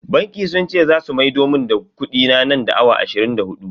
Bankin sun ce zasu maido mun da kudina nan da awa ashirin da hudu.